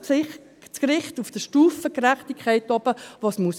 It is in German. Belassen wir dem Gericht die Stufengerechtigkeit, die es haben muss.